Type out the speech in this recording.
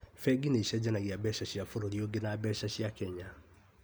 Bengi nĩicenjanagia mbeca cia bũrũri ũngi na mbeca cia Kenya